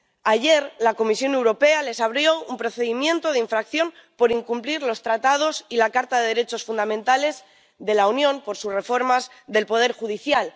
Ayer, la Comisión Europea les abrió un procedimiento de infracción por incumplir los Tratados y la Carta de los Derechos Fundamentales de la Unión por sus reformas del poder judicial.